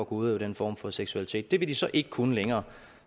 udøve den form for seksualitet det vil de så ikke kunne længere